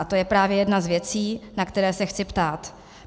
A to je právě jedna z věcí, na které se chci ptát.